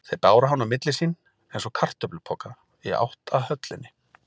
Þeir báru hann á milli sín, eins og kartöflupoka, í átt að höllinni.